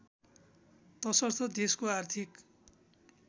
तसर्थ देशको आर्थिक